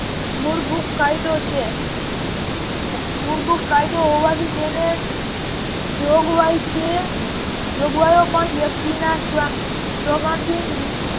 મૂળભૂત કાયદો છે મૂળભૂત કાયદો હોવાથી તેને જોગવાઈ છે જોગવાઈઓ પણ વ્યક્તિના